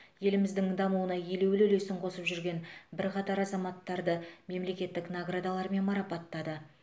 еліміздің дамуына елеулі үлесін қосып жүрген бірқатар азаматтарды мемлекеттік наградалармен марапаттады